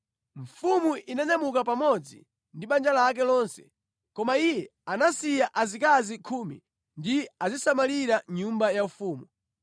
Mfumu inanyamuka pamodzi ndi banja lake lonse. Koma iye anasiya azikazi khumi kuti azisamalira nyumba yaufumu.